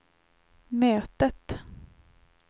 mötet